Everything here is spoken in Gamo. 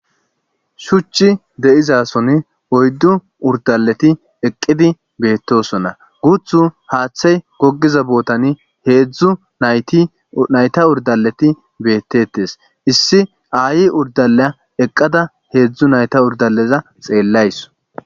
shuchi deizason oyddu urdaleti eqqidi beettosona guthu haaththay gogiza bootani heedzdzu nayta urdaleti beettetes issi aayi urdalea eqqada heedzdzu nayta urdaleza xeellays